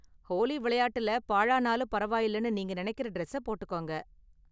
ஹோலி விளையாட்டுல பாழானாலும் பரவாயில்லனு நீங்க நினைக்கற டிரெஸ்ஸை போட்டுக்கங்க!